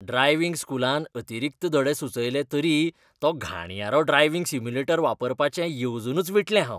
Driving स्कूलान अतिरिक्त धडे सुचयले तरी तो घाणयारो ड्रायव्हिंग सिम्युलेटर वापरपाचें येवजूनच विटलें हांव.